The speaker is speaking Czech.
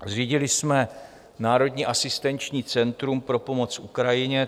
Zřídili jsme Národní asistenční centrum pro pomoc Ukrajině.